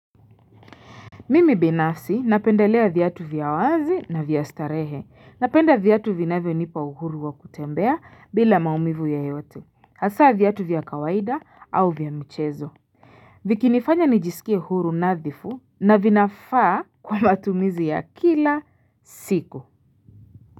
Mimi binafsi napendelea viatu vya wazi na vya starehe. Napenda viatu vinavyonipa uhuru wa kutembea, bila maumivu yeyote, hasa viatu vya kawaida au vya mchezo. Vikinifanya nijisikie huru nadhifu na vinafaa kwa matumizi ya kila siku.